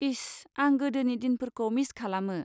इस, आं गोदोनि दिनफोरखौ मिस खालामो।